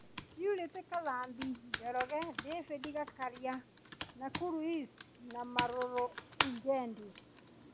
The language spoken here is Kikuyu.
Purity Kathambi (Njoro), David Gĩkaria (Nakuru East) na Malulu Injendi.